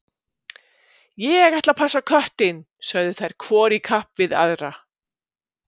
Ég ætla að passa köttinn, sögðu þær hvor í kapp við aðra.